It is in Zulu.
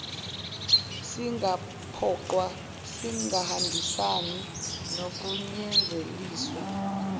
singaphoqwa singahambisani nokunyanzeliswa